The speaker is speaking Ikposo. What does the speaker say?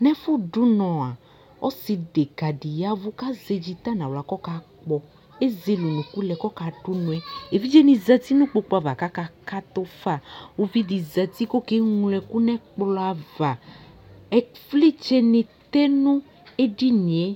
no ɛfo do unɔ ɔse deka di yavo ko azɛ dzita no ala ko ɔka kpɔ ezele unuku lɛ ko ɔka do unɔɛ evidze ni zati no ikpoku ava ko aka kato fa uvi di zati ko oke ŋlo ɛko no ɛkpɔ ava ivlitsɛ ni tɛ no edinie